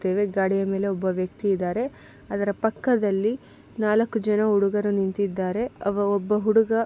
private ಗಾಡಿಯ ಮೇಲೆ ಒಬ್ಬ ವ್ಯಕ್ತಿ ಇದ್ದಾರೆ ಅದರ ಪಕ್ಕದಲ್ಲಿ ನಾಲ್ಕು ಜನ ಹುಡುಗರು ನಿಂತಿದ್ದಾರೆ ಅವ್ ಒಬ್ಬ ಹುಡುಗ --